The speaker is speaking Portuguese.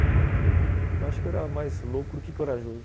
Eu acho que eu era mais louco do que corajoso.